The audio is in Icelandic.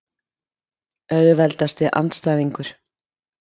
Auðveldasti andstæðingur?